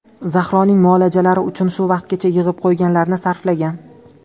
Zahroning muolajalari uchun shu vaqtgacha yig‘ib qo‘yganlarini sarflagan.